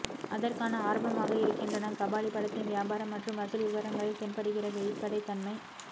அதற்கான ஆரம்பமாக இருக்கின்றன கபாலி படத்தின் வியாபாரம் மற்றும் வசூல் விவரங்களில் தென்படுகிற வெளிப்படைத்தன்மை